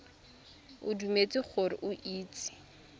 o dumetse gore o itse